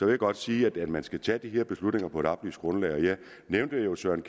jeg godt sige at man skal tage de her beslutninger på et oplyst grundlag jeg nævnte jo søren